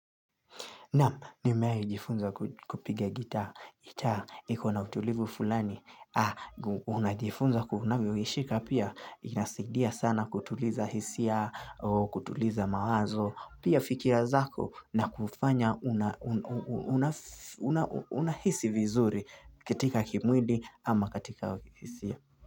Nam, nimejifunza kupiga gitaa. Gitaa, ikona utulivu fulani. Unajifunza unavyoishika pia. Inasaidia sana kutuliza hisia, kutuliza mawazo. Pia fikira zako na kufanya unahisi vizuri katika kimwili ama katika hisia.